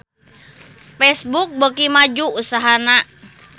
Facebook beuki maju usahana